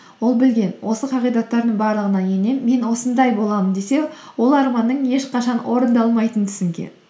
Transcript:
ол білген осы қағидаттардың барлығына енем мен осындай боламын десе ол арманның ешқашан орындалмайтынын түсінген